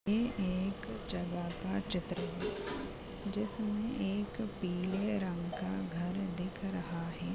ये एक जगह का चित्र है जिसमे एक पीले रंग का घर दिख रहा हैं।